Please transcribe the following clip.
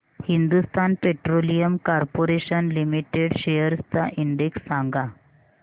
Hindustan petroleum corporation limited shares चा index सांगा